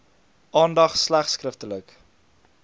aandag slegs skriftelike